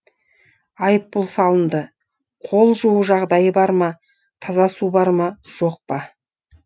айыпұл салынды қол жуу жағдайы бар ма таза су бар ма жоқ па